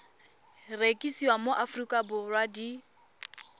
rekisiwa mo aforika borwa di